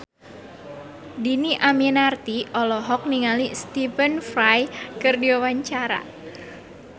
Dhini Aminarti olohok ningali Stephen Fry keur diwawancara